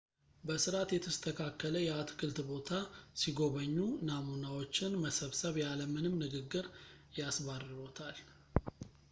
በሥርዓት የተስተካከለ የአትክልት ቦታ ሲጐበኙ፣ «ናሙናዎች»ን መሰብሰብ ያለ ምንም ንግግር ያስባርሮታል